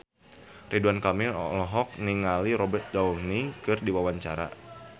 Ridwan Kamil olohok ningali Robert Downey keur diwawancara